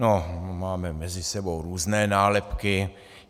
No, máme mezi sebou různé nálepky.